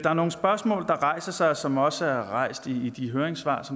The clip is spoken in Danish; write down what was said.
er nogle spørgsmål der rejser sig og som også er blevet rejst i de høringssvar